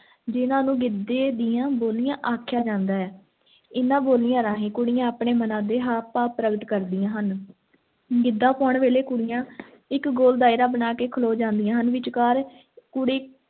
ਜਿਨ੍ਹਾਂ ਨੂੰ ਗਿੱਧੇ ਦੀਆਂ ਬੋਲੀਆਂ ਆਖਿਆ ਜਾਂਦਾ ਹੈ, ਇਹਨਾਂ ਬੋਲੀਆਂ ਰਾਹੀਂ ਕੁੜੀਆਂ ਆਪਣੇ ਮਨਾਂ ਦੇ ਹਾਵ ਭਾਵ ਪ੍ਰਗਟ ਕਰਦੀਆਂ ਹਨ l ਗਿੱਧਾ ਪਾਉਣ ਵੇਲੇ ਕੁੜੀਆਂ ਇੱਕ ਗੋਲ ਦਾਇਰਾ ਬਣਾ ਕੇ ਖਲੋ ਜਾਂਦੀਆਂ ਹਨ, ਵਿਚਕਾਰ ਕੁੜੀ